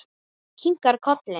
Kinkar kolli.